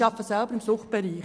Ich arbeite im Suchtbereich.